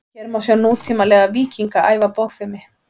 hér má sjá nútímalega „víkinga“ æfa bogfimi